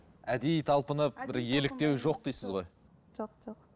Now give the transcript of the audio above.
әдейі талпынып бір еліктеу жоқ дейсіз ғой жоқ жоқ